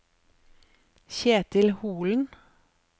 Kjetil Holen